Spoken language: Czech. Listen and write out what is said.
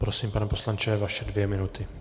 Prosím, pane poslanče, vaše dvě minuty.